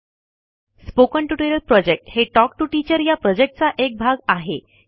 spoken tutorial प्रॉजेक्टquot हे quotटॉक टू टीचरquot या प्रॉजेक्टचा एक भाग आहे